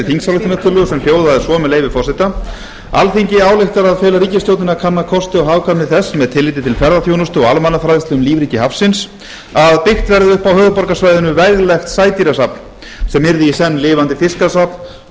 þingsályktunartillögu sem hljóðaði svo með leyfi forseta alþingi ályktar að fela ríkisstjórninni að kanna kosti og hagkvæmni þess með tilliti til ferðaþjónustu og almannafræðslu um lífríki hafsins að byggt verði upp á höfuðborgarsvæðinu veglegt sædýrasafn sem yrði í senn lifandi fiskasafn